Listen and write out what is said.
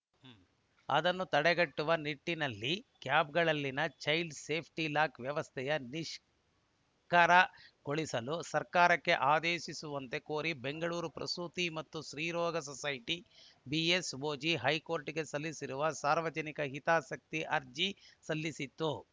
ಅದನ್ನು ತಡೆಗಟ್ಟುವ ನಿಟ್ಟಿನಲ್ಲಿ ಕ್ಯಾಬ್‌ಗಳಲ್ಲಿನ ಚೈಲ್ಡ‌ ಸೇಫ್ಟಿಲಾಕ್‌ ವ್ಯವಸ್ಥೆ ನಿಷ್ಕಿರಯಗೊಳಿಸಲು ಸರ್ಕಾರಕ್ಕೆ ಆದೇಶಿಸುವಂತೆ ಕೋರಿ ಬೆಂಗಳೂರು ಪ್ರಸೂತಿ ಮತ್ತು ಸ್ತ್ರೀರೋಗ ಸೊಸೈಟಿ ಬಿಎಸ್‌ಒಜಿ ಹೈಕೋರ್ಟ್‌ಗೆ ಸಲ್ಲಿಸಿರುವ ಸಾರ್ವಜನಿಕ ಹಿತಾಸಕ್ತಿ ಅರ್ಜಿ ಸಲ್ಲಿಸಿತ್ತು